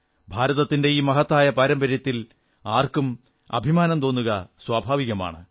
ഭാരതത്തിന്റെ ഈ മഹത്തായ പാരമ്പര്യത്തിൽ ആർക്കും അഭിമാനം തോന്നുക സ്വഭാവികമാണ്